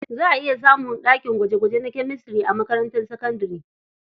Za a iya samun ɗakin gwaje-gwaje na Chemistry a makarantar sakabdare.